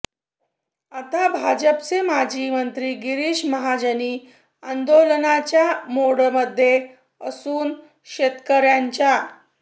आता भाजपचे माजी मंत्री गिरीश महाजनही आंदोलनाच्या मोडमध्ये असून शेतकऱ्यांच्या